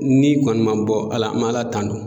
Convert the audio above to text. Ni kɔni ma bɔ Ala, an mɛ Aala tanu